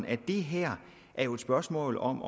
at det her er et spørgsmål om